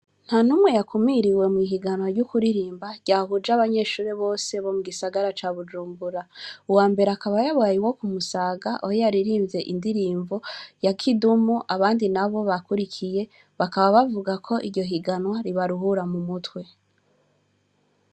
Nta numwe yakumiriwe mw'ihiganwa ryo kuririmba ryahuje z'abanyeshure bose bo mugisagara ca Bujumbura, uwambere akababyabaye uwo kumusaga, aho yaririmvye indirimbo ya kidumu abandi nabo bakurikiye, bakaba bavuga ko iryo higanwa ribaruhura mumutwe.